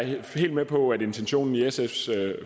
helt med på at intentionen i sfs